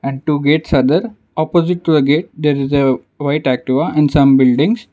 two gates are there opposite to a gate there is a white activa and some buildings.